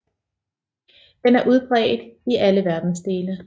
Den er udbredt i alle verdensdele